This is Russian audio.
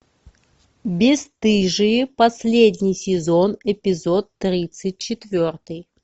бесстыжие последний сезон эпизод тридцать четвертый